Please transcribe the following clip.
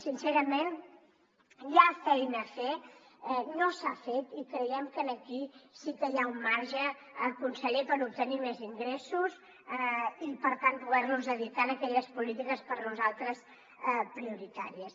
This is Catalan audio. sincerament hi ha feina a fer no s’ha fet i creiem que aquí sí que hi ha un marge conseller per obtenir més ingressos i per tant poder los dedicar a aquelles polítiques per nosaltres prioritàries